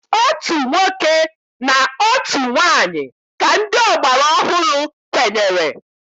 Otu nwoke na otu nwaanyị ka ndị ọgbara ọhụrụ kwenyere.